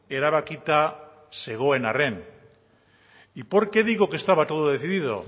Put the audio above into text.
erabakita zegoen arren y por qué digo que estaba todo decidido